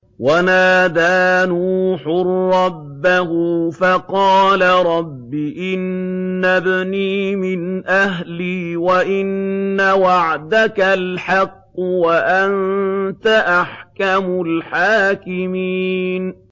وَنَادَىٰ نُوحٌ رَّبَّهُ فَقَالَ رَبِّ إِنَّ ابْنِي مِنْ أَهْلِي وَإِنَّ وَعْدَكَ الْحَقُّ وَأَنتَ أَحْكَمُ الْحَاكِمِينَ